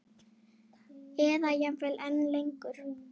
Eða jafnvel enn lengur.